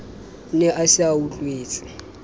ne a se a utlwetse